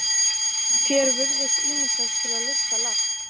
Þér virðist ýmislegt til lista lagt.